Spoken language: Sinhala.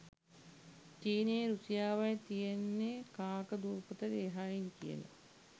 චීනෙයි රුසියාවයි තියෙන්නේ කාක දුපතට එහායින් කියලා?